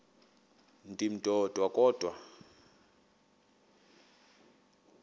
ndim ndodwa kodwa